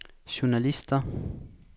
journalister